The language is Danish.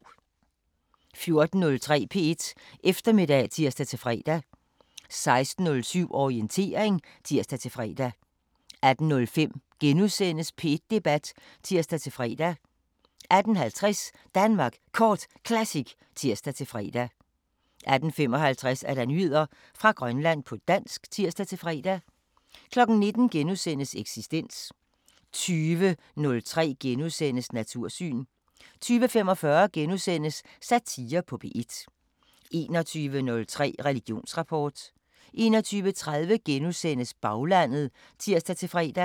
14:03: P1 Eftermiddag (tir-fre) 16:07: Orientering (tir-fre) 18:05: P1 Debat *(tir-fre) 18:50: Danmark Kort Classic (tir-fre) 18:55: Nyheder fra Grønland på dansk (tir-fre) 19:00: Eksistens * 20:03: Natursyn * 20:45: Satire på P1 * 21:03: Religionsrapport 21:30: Baglandet *(tir-fre)